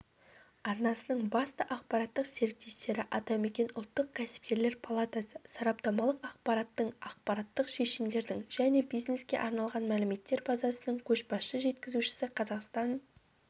арнасының басты ақпараттық серіктестері атамекен ұлттық кәсіпкерлер палатасы сараптамалық ақпараттың ақпараттық шешімдердің және бизнеске арналған мәліметтер базасының көшбасшы жеткізушісі қазақстан